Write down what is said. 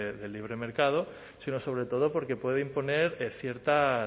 de libre mercado sino sobre todo porque puede imponer ciertas